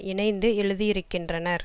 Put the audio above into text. இணைந்து எழுதியிருக்கின்றனர்